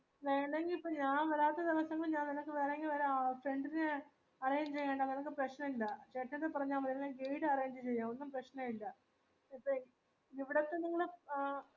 വരാത്ത സമയത് ഞാൻ നിനക്ക് വേണെങ്കിൽ വേറൊരാ friend നെ arrange ചെയ്യണെങ്കിൽ പ്രശ്‌നുല്ല ചേട്ടന്റെട്ത് പറഞ്ഞ മതി അല്ലെങ്കിൽ ഞാൻ guide arrange ചെയ്യാ ഒന്നു പ്രെശ്നുല്ല ഇപ്പൊ ഇവിടെ തന്നെ ഇങ്ങനെ ആ